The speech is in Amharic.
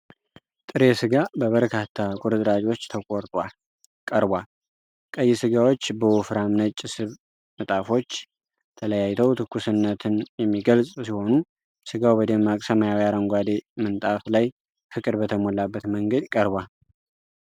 ጥሬ ሥጋ በበርካታ ቁርጥራጮች ተቆርጧል ቀርቧል። ቀይ ሥጋዎች በወፍራም ነጭ ስብ ንጣፎች ተለያይተው ትኩስነትን የሚገልጽ ሲሆኑ። ሥጋው በደማቅ ሰማያዊ አረንጓዴ ምንጣፍ ላይ ፍቅር በተሞላበት መንገድ ቀርቧል።